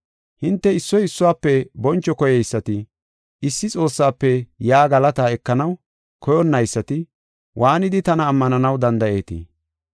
Hinte issoy issuwafe boncho koyeysati, issi Xoossaafe yaa galata ekanaw koyonnaysati, waanidi tana ammananaw danda7eetii?